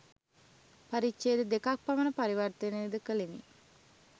පරිච්ඡේද දෙකක් පමණ පරිවර්තනය ද කළෙමි